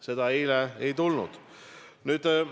Seda eile ei tulnud.